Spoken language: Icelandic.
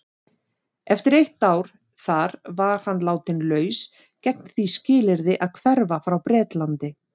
Eftir eitt ár þar var hann látinn laus gegn því skilyrði að hverfa frá Bretlandi.